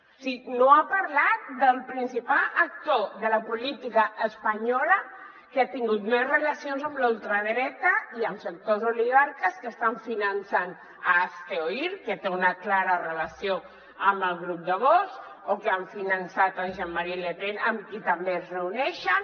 o sigui no ha parlat del principal actor de la política espanyola que ha tingut més relacions amb la ultradreta i amb sectors oligarques que estan finançant hazte oír que té una clara relació amb el grup de vox o que han finançat jean·marie le pen amb qui també es reuneixen